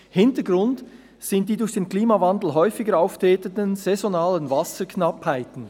Hintergrund sind die durch den Klimawandel häufiger auftretenden saisonalen Wasserknappheiten.